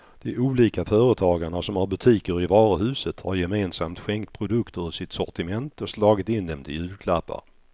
De olika företagarna som har butiker i varuhuset har gemensamt skänkt produkter ur sitt sortiment och slagit in dem till julklappar.